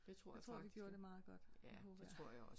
Jeg tror vi gjorde det meget godt håber jeg